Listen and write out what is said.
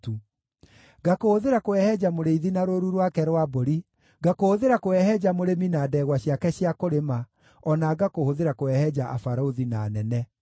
Ngakũhũthĩra kũhehenja mũrĩithi na rũũru rwake rwa mbũri, ngakũhũthĩra kũhehenja mũrĩmi na ndegwa ciake cia kũrĩma, o na ngakũhũthĩra kũhehenja abarũthi na anene.